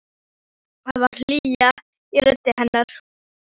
Það var hlýja í rödd hennar.